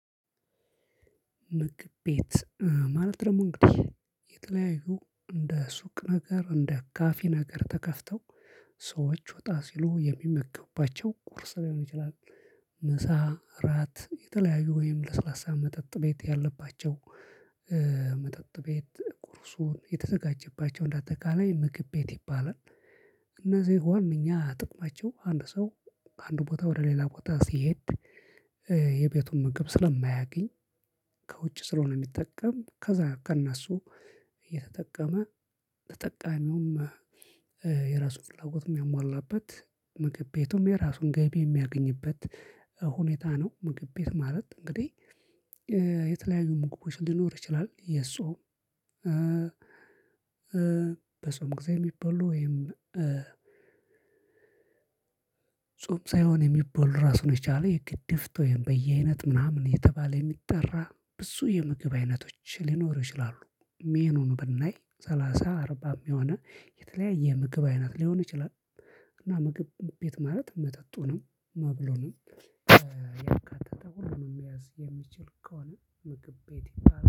ምግብ ቤት ማለት ደግሞ እንግዲህ የተለያዩ እንደ ሱቅ ነገር እንደ ካፌ ነገር ተከፍተው ሰዎች ወጣ ሲሉ የሚመገቡባቸው ቁርስ ሊሆን ይችላል ምሳ እራት የተለያዩ ወይም ለስላሳ መጠጥ ቤት ያለባቸው መጠጥ ቤት ቁርሱ የተዘጋጀባቸው እንደ አጠቃላይ ምግብ ቤት ይባላል። እነዚህ ዋናኛ ጥቅማቸው አንድ ሰው ከአንድ ቦታ ወደ ሌላ ቦታ ሲሄድ የቤቱን ምግብ ስለማያገኝ ከውጭ ስለሆነ የሚጠቀም ከዛ ከነሱ እየተጠቀመ ተጠቃሚውም የራሱን ፍላጎት የሚያሟላበት ምግብ ቤቱም የራሱን ገቢ የሚያገኝበት ሁኔታ ነው። ምግብ ቤት ማለት እንግዲህ የተለያዩ ምግቦች ሊኖር ይችላል። የጾም በጾም ጊዜ የሚበሉ ወይም ጾም ሳይሆን የሚበሉ ራሱን የቻለ የግድፍት ወይም በየአይነት ምናምን እየተባለ የሚጠራ ብዙ የምግብ አይነቶች ሊኖሩ ይችላሉ። ሜኑን ብናይ ሰላሳ አርባም የሆነ የተለያየ ምግብ አይነት ሊሆን ይችላል። እና ምግብ ቤት ማለት መጠጡንም መብሉንም ሁሉ የሚያዝ የሚችል ከሆነ ምግብ ቤት